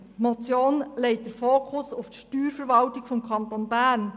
Diese legt den Fokus auf die Steuerverwaltung des Kantons Bern.